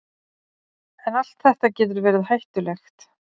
en allt þetta getur verið hættulegt